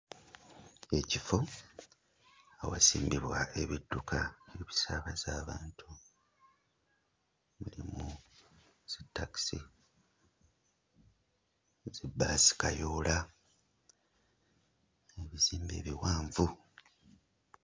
Ekifo awasimbibwa ebidduka okusaabaza abantu mulimu zi takisi, zi bbaasi kayoola n'ebizimbe ebiwanvu.